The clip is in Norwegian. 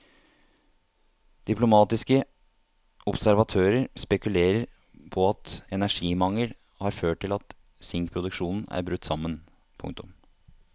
Diplomatiske observatører spekulerer på at energimangel har ført til at sinkproduksjonen er brutt sammen. punktum